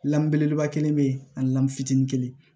Lamun belebeleba kelen be yen ani lam fitinin